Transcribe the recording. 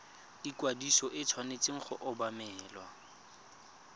ikwadiso e tshwanetse go obamelwa